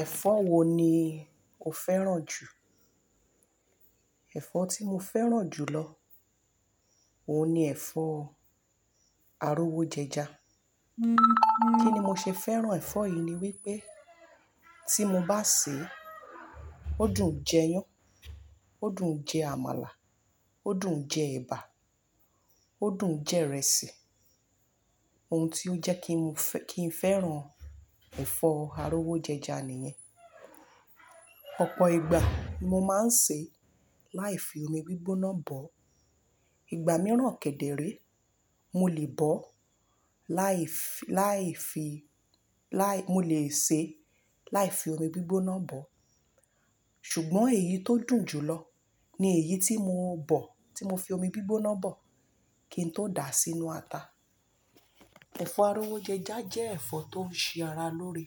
Ẹ̀fọ́ wo ni o fẹ́ràn jù? Ẹ̀fọ́ tí mo fẹ́ràn jù lọ, òun ni ẹ̀fọ́ arówó jẹja kíni mo ṣe fẹ́ràn ẹ̀fọ́ yìí ni wípé tí mo bá sè é, ó dùn jẹ iyán, ó dùn jẹ àmàlà, ó dùn jẹ ẹ̀bà, ó dùn jẹ ìrẹsì. Ohun tí ó jẹ́ kí ń fẹ́ran ẹ̀fọ́ arówó jẹja nìyẹn. Ọ̀pọ̀ ìgbà mo máa ń sè láì fi omi gbígbóná bọ̀. Ìgbà mìíràn kẹ̀dẹ̀ re, mo lè bọ̀, láì fi, láì fi, lai, mo lè sè láì fi omi gbígbóná bọ̀. Ṣùgbọ́n èyí tó dùn jù lọ ni èyí tí mo bọ̀, tí mo fi omi gbígbóná bọ̀ kí n tó dà á sínú ata. Ẹ̀fọ́ arówó jẹja jẹ́ ẹ̀fọ́ tó ń ṣe ara lóore,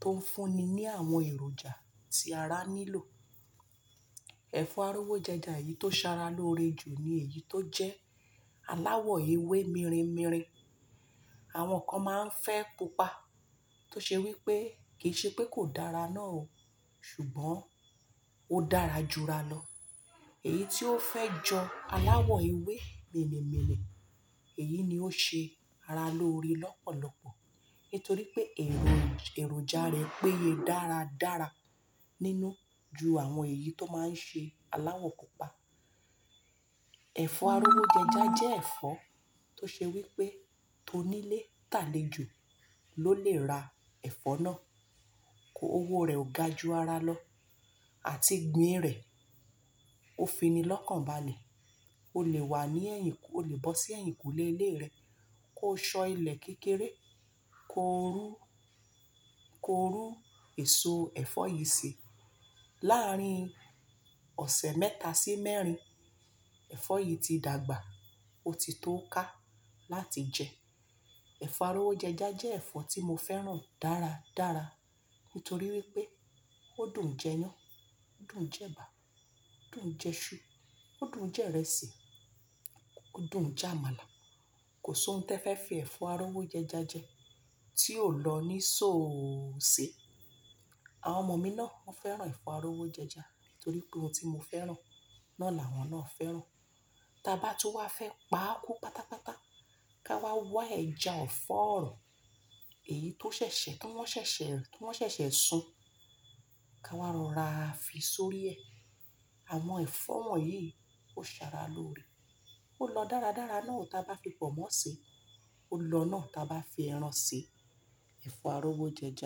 tó ń fúnni ní àwọn èròjà tí ara nílò. Ẹ̀fọ́ arówó jẹja yìí tó ṣe ara lóore jù ni èyí tó jẹ́ aláwọ̀ ewé mirinmirin. Àwọn kan máa ń fẹ́ pupa tó ṣe wípé kì í ṣe pé kò dára náà o, ṣùgbọ́n ó dára jura lọ. Èyí tí ó fẹ́ jọ aláwọ̀ ewé minimini, èyí ni ó ṣe ara lóore lọ́pọ̀lọpọ̀ nítorí pé èròjà rẹ̀ péye dáradára nínú ju àwọn èyí tó máa ń ṣe aláwọ̀ pupa. Ẹ̀fọ́ arówó jẹja jẹ́ ẹ̀fọ́ tó ṣe wípé tonílé tàlé jo ló lè ra ẹ̀fọ́ náà. Owó rẹ̀ o ga ju ara lọ àti gbìn rẹ̀ ó fini lọ́kànbalẹ̀. O lè wà ní ẹ̀yìn, o lè bọ́ sí ẹ̀yìnkùlé ilé rẹ kó sọ ilẹ̀ kékeré, kó rún, kó rún èso ẹ̀fọ́ yìí sè. Láàárín ọ̀sẹ̀ mẹ́ta sí mẹ́rin, ẹ̀fọ́ yìí ti dàgbà ó ti tó ká láti jẹ. Ẹ̀fọ́ arówó jẹja jẹ́ ẹ̀fọ́ tí mo fẹ́ràn dáradára nítorí wípé ó dùn jẹ iyán, ó dùn jẹ ẹ̀bà, ó dùn jẹ iṣu, ó dùn jẹ ìrẹsì, ó dùn jẹ àmàlà. Kò sí ohun tó fẹ́ fi ẹ̀fọ́ arówó jẹja jẹ tí ò lọ níṣọ ò ṣe. Àwọn ọmọ mi náà woń fẹ́ràn ẹ̀fọ́ arówó jẹja nítorí pé ohun tí mo fẹ́ràn náà làwọn náà fẹ́ràn. Ta bá tú wá fẹ́ pa kú pátápátá, ká wá wá ẹja ọ̀fọ̀ ọ̀rọ̀, èyí tó ṣẹ̀ṣẹ̀, tí wọ́n ṣẹ̀ṣẹ̀, tí wọ́n ṣẹ̀ṣẹ̀ sun, ká wá rora fi sórí ẹ. Àwọn ẹ̀fọ́ wọ̀nyí ó ṣe ara lóore. Ó lọ dáradára náà o tí a bá fi pọ̀nmọ́ ṣe. Ó lọ náà tí a bá fi ẹran sè ẹ̀fọ́ arówó jẹja.